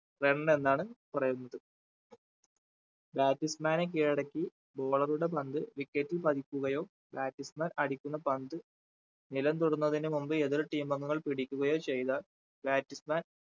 run എന്നാണ് പറയുന്നത് batsman നെ കീഴടക്കി bowler ഉടെ പന്ത് wicket ൽ പതിക്കുകയോ batsman അടിക്കുന്ന പന്ത് നിലം തൊടുന്നതിന് മുമ്പ് എതിർ team അംഗങ്ങൾ പിടിക്കുകയോ ചെയ്താൽ batsman